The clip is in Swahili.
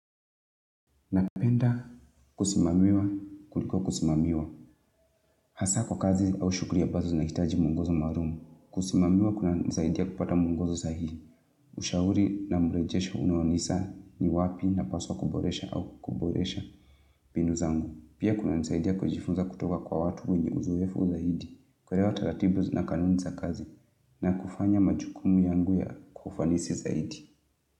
Napenda kusimamiwa kuliko kusimamiwa hasa kwa kazi au shughuli ambazo zina hitaji mungozwo maalumu. Kusimamiwa kuna nisaidia kupata muongozwo sahihi. Ushauri na mrejesho unaonisa ni wapi napaswa kuboresha au kuboresha mbinu zangu. Pia kuna nisaidia kujifunza kutoka kwa watu wenye uzoefu zaidi. Kuelewa taratibu na kanuni za kazi na kufanya majukumu yangu ya kufanisi zaidi.